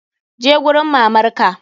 Je gurin mamar ka!